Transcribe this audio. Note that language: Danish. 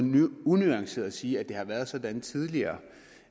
unuanceret at sige at det har været sådan tidligere